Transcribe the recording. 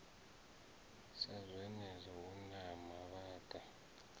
sa zwenezwo hu na mavhaka